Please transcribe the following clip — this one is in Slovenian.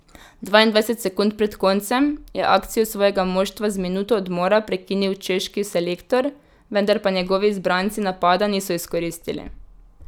Dvaindvajset sekund pred koncem je akcijo svojega moštva z minuto odmora prekinil češki selektor, vendar pa njegovi izbranci napada niso izkoristili.